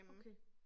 Okay